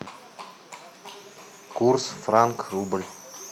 курс франк рубль